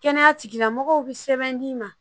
Kɛnɛya tigilamɔgɔw bi sɛbɛn d'i ma